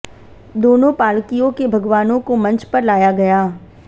दोनों पालकियों के भगवानों को मंच पर लाया गया